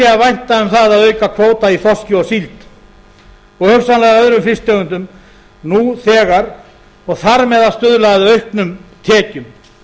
að vænta um það að auka kvóta í þorski og síld og hugsanlega öðrum fisktegundum nú þegar og þar með að stuðla að auknum tekjum